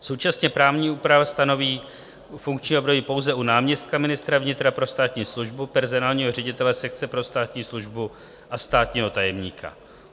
Současně právní úprava stanoví funkční období pouze u náměstka ministra vnitra pro státní službu, personálního ředitele sekce pro státní službu a státního tajemníka.